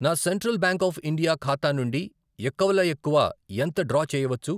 నా central bank of India ఖాతా నుండి ఎక్కువలో ఎక్కువ ఎంత డ్రా చేయవచ్చు?